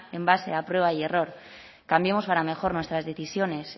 en base a prueba y error cambiemos para mejor nuestras decisiones